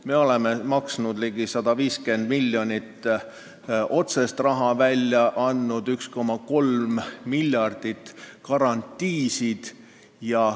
Me oleme maksnud ehk otseselt raha välja andnud ligi 150 miljonit ja 1,3 miljardi ulatuses andnud garantiisid.